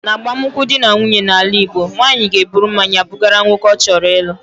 N'agbamụnkwụ dị na nwunye n'ala Igbo, nwanyị ga-eburu mmanya bugara nwoke ọ chọrọ ịlụ.